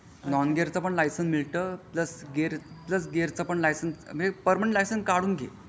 Non gear पण license मिळतं plus gear चा लायसन्स पण पर्मनंट लायसन काढून घे.